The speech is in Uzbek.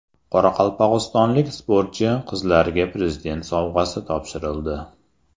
Qoraqalpog‘istonlik sportchi qizlarga Prezident sovg‘asi topshirildi.